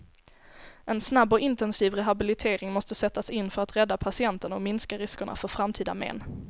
En snabb och intensiv rehabilitering måste sättas in för att rädda patienten och minska riskerna för framtida men.